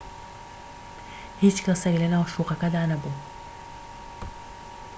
هیچ کەسێك لەناو شوقەکەدا نەبوو